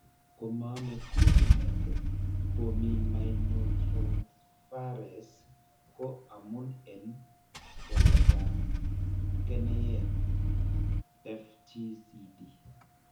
Komaame glutamate formiminotransferase ko amun en waletab keneyeek FTCD.